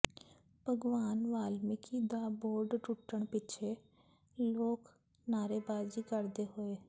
ਭਗਵਾਨ ਵਾਲਮੀਕੀ ਦਾ ਬੋਰਡ ਟੁੱਟਣ ਪਿੱਛੋਂ ਲੋਕ ਨਾਅਰੇਬਾਜ਼ੀ ਕਰਦੇ ਹੋਏ